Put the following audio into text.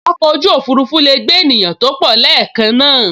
Oko oju ofurufu lee gbe eniyan to po leekan naa